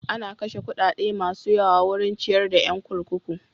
An kashe kuɗaɗa masu yawa wurin ciyar da yan kurkuku.